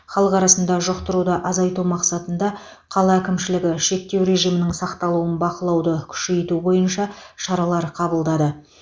халық арасында жұқтыруды азайту мақсатында қала әкімшілігі шектеу режимінің сақталуын бақылауды күшейту бойынша шаралар қабылдады